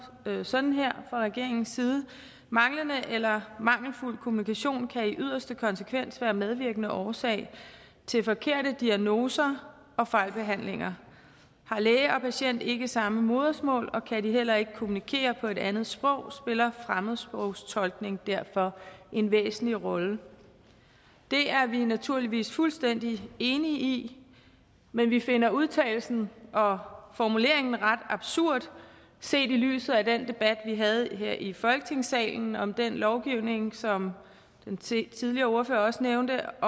sådan her fra regeringens side manglende eller mangelfuld kommunikation kan i yderste konsekvens være medvirkende årsag til forkerte diagnoser og fejlbehandlinger har læge og patient ikke samme modersmål og kan de heller ikke kommunikere på et andet sprog spiller fremmedsprogstolkningen derfor en væsentlig rolle det er vi naturligvis fuldstændig enige i men vi finder udtalelsen og formuleringen ret absurd set i lyset af den debat vi havde her i folketingssalen om den lovgivning som den tidligere ordfører også nævnte